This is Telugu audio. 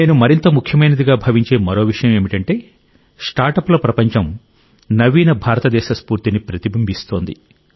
నేను మరింత ముఖ్యమైందిగా భావించే మరో విషయం ఏమిటంటే స్టార్టప్ల ప్రపంచం నవీన భారతదేశ స్ఫూర్తిని ప్రతిబింబిస్తోంది